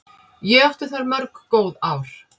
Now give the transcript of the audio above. Ég átti þar mörg góð ár.